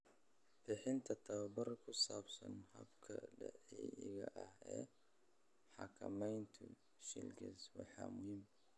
Bixinta tababar ku saabsan hababka dabiiciga ah ee xakameynaya shingles waa muhiim.